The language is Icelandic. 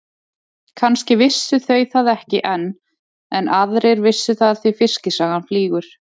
Kannski vissu þau það ekki enn en aðrir vissu það því fiskisagan flýgur.